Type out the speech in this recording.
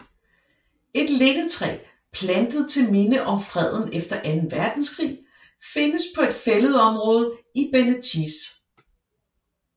Et lindetræ plantet til minde om freden efter anden verdenskrig findes på et fælledområde i Benetice